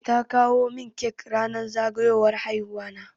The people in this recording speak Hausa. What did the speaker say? Ta kawo min cake ranar zagayowar haihuwa na.